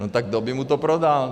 No tak kdo by mu to prodal?